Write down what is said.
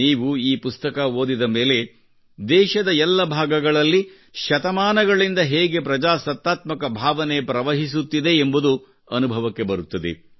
ನೀವು ಈ ಪುಸ್ತಕ ಓದಿದ ಮೇಲೆ ದೇಶದ ಎಲ್ಲ ಭಾಗಗಳಲ್ಲಿ ಶತಮಾನಗಳಿಂದ ಹೇಗೆ ಪ್ರಜಾಸತ್ತಾತ್ಮಕ ಭಾವನೆ ಪ್ರವಹಿಸುತ್ತಿದೆ ಎಂಬುದು ಅನುಭವಕ್ಕೆ ಬರುತ್ತದೆ